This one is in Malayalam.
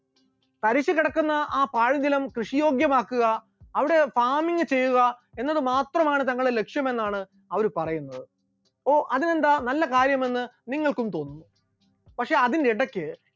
തരിശു കിടക്കുന്ന ആ പാഴ്സ്ഥലം കൃഷിയോഗ്യമാക്കുക, അവിടെ farming ചെയ്യുക, എന്നതുമാത്രമാണ് തങ്ങളുടെ ലക്ഷ്യമെന്നാണ് അവർ പറയുന്നത്, ഓ അതിനെന്താ, നല്ല കാര്യമെന്ന് നിങ്ങൾക്കും തോന്നും, പക്ഷെ അതിനിടക്ക്